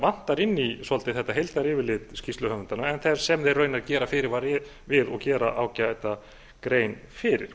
vantar inn svolítið þetta heildaryfirlit skýrsluhöfundanna sem þeir raunar gera fyrirvara við og gera ágæta grein fyrir